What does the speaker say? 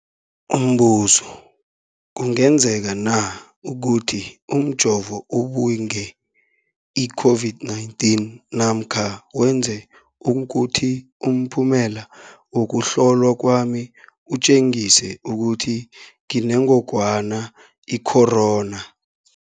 Umbuzo, kungenzekana ukuthi umjovo ubange i-COVID-19 namkha wenze ukuthi umphumela wokuhlolwa kwami utjengise ukuthi nginengogwana i-corona?